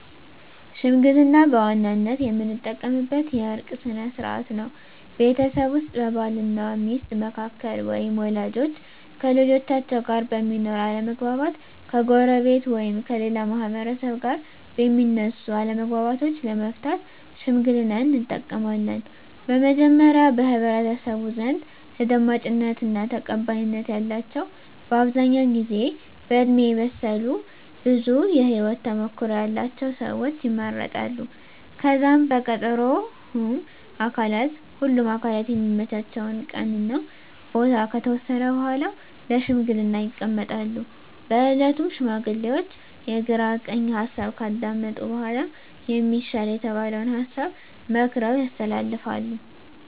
ሽምግልና በዋናነት የምንጠቀምበት የእርቅ ስነ ስርዓት ነው። ቤተሰብ ውስጥ በባል እና ሚስት መካከል ወይም ወላጆች ከልጆቻቸው ጋር በሚኖር አለመግባባት፣ ከጎረቤት ወይም ከሌላ ማህበረሰብ ጋር በሚነሱ አለመግባባቶች ለመፍታት ሽምግልናን እንጠቀማለን። በመጀመሪያ በህብረተሰቡ ዘንድ ተደማጭነት እና ተቀባይነት ያላቸው በአብዛኛው ጊዜ በእድሜ የበሰሉ ብዙ የህወት ተሞክሮ ያለቸው ሰወች ይመረጣሉ። ከዛም በቀጠሮ ሁምም አካላት የሚመቻቸውን ቀን እና ቦታ ከተወሰነ በኃላ ለሽምግልና ይቀመጣሉ። በእለቱም ሽማግሌዎቹ የግራ ቀኝ ሀሳብ ካዳመጡ በኃላ የሚሻል የተባለውን ሀሳብ መክረው ያስተላልፋሉ።